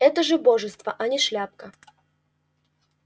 это же божество а не шляпка